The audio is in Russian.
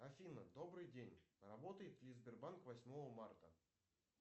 афина добрый день работает ли сбербанк восьмого марта